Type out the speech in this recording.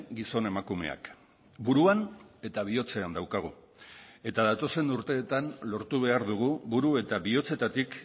gizon emakumeak buruan eta bihotzean daukagu eta datozen urteetan lortu behar dugu buru eta bihotzetatik